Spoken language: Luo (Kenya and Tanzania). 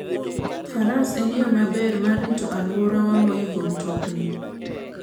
Faras en yo maber mar rito alworawa moingo mtokni.